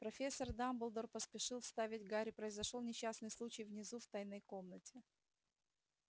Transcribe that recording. профессор дамблдор поспешил вставить гарри произошёл несчастный случай внизу в тайной комнате